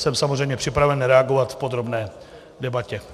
Jsem samozřejmě připraven reagovat v podrobné debatě.